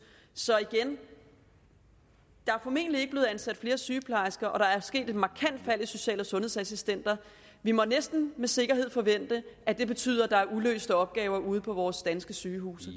så igen der er formentlig ikke blevet ansat flere sygeplejersker og der er sket et markant fald i social og sundhedsassistenter vi må næsten med sikkerhed forvente at det betyder at der er uløste opgaver ude på vores danske sygehuse